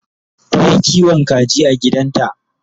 Tayi kiwon kaji a gidanta